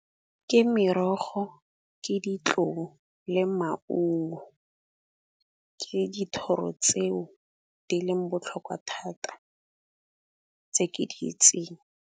Ke merogo, ke ditlou le maungo. Ke dithoro tseo di leng botlhokwa thata tse ke di itseng.